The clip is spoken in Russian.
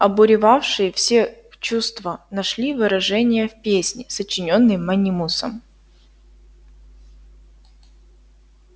обуревавшие все чувства нашли выражение в песне сочинённой манимусом